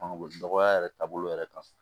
dɔgɔya yɛrɛ taabolo yɛrɛ kan